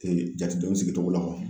jatedenw sigicogo la kɔni